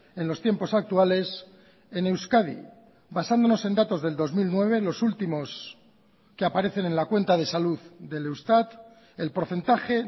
en los tiempos actuales en euskadi basándonos en datos del dos mil nueve los últimos que aparecen en la cuenta de salud del eustat el porcentaje